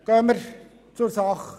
Kommen wir nun zur Sache.